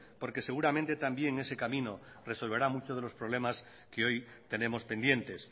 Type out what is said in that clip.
porque seguramente también ese camino resolverá muchos de los problemas que hoy tenemos pendientes